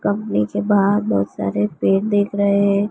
Company के बाहर बहुत सारे पेड़ देख रहे हैं।